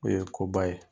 O ye koba ye